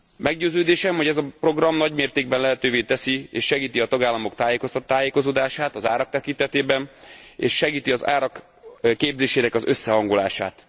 Meggyőződésem, hogy ez a program nagy mértékben lehetővé teszi és segíti a tagállamok tájékozódását az árak tekintetében és segíti az árak képzésének az összehangolását.